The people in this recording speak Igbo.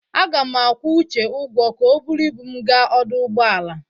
Aga m akwụ Uche ụgwọ ka o buru ibu m gaa ọdụ ụgbọala.